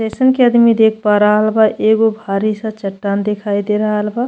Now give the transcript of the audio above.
जइसन कि आदमी देख पा रहल बा एगो भारी सा चट्टान दिखाई दे रहल बा।